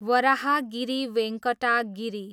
Varahagiri Venkata Giri